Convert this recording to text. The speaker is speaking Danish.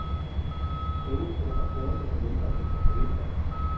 Ingen fotografering med mindre vi får penge for det.